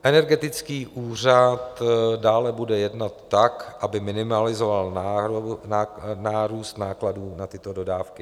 Energetický úřad dále bude jednat tak, aby minimalizoval nárůst nákladů na tyto dodávky.